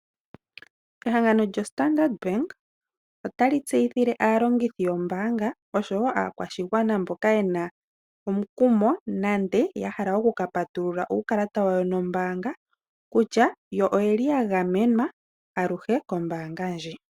Ehangano lyoStandard Bank otali tseyithile aalongithi yombaanga oshowo aakwashigwana mboka ye na omukumo nenge ya hala oku ka patulula uukalata wawo wombaanga kutya oya gamenwa aluhe kombaanga ndjika.